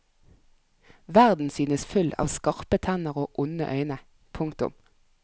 Verden synes full av skarpe tenner og onde øyne. punktum